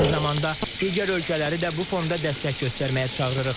Eyni zamanda digər ölkələri də bu fonda dəstək göstərməyə çağırırıq.